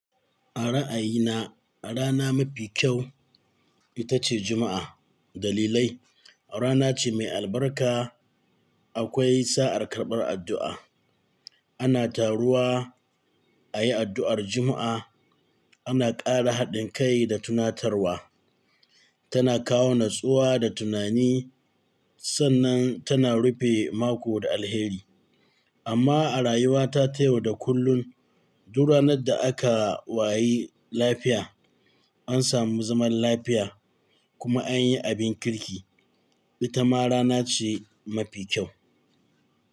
A ra'ayina rana mafi kyau ita ce Juma'a. Dalilai, rana ce mai albarka. Akwai sa'ar karɓar addu'a. Ana taruwa a yi addu'ar Juma'a. Ana ƙara haɗin kai da tunatarwa. Tana kawo natsuwa da tunani sannan tana rufe mako da alheri. Amma a rayuwata ta yau da kullun, duk ranar da aka wayi lafiya, an samu zaman lafiya kuma an yi abin kirki, ita ma rana ce mafi kyau.